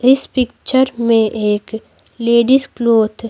इस पिक्चर में एक लेडीज क्लॉथ --